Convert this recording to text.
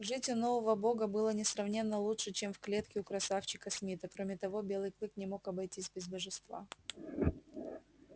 жить у нового бога было несравненно лучше чем в клетке у красавчика смита кроме того белый клык не мог обойтись без божества